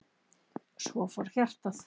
Svo fór hjartað.